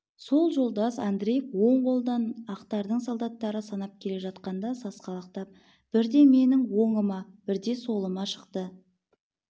сол жолдас андреев оң қолдан ақтардың солдаттары санап келе жатқанда сасқалақтап бірде менің оңыма бірде солыма шықты